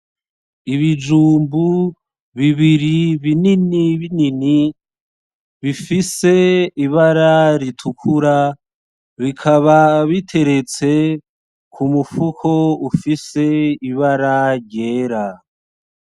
Ibijumbu bibiri binini binini bifise ibara ritukura bikaba biteretse k'umufuko ufise ibara ryera .